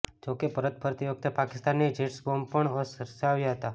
જો કે પરત ફરતી વખતે પાકિસ્તાની જેટ્સે બોમ્બ પણ વરસાવ્યા હતાં